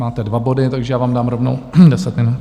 Máte dva body, takže já vám dám rovnou deset minut.